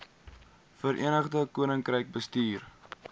verenigde koninkryk bestuur